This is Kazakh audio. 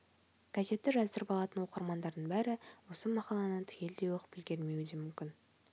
газетті жаздырып алатын оқырмандардың бәрі осы мақаланы түгелдей оқып үлгірмеуі де мүмкүн